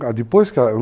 Depois que ela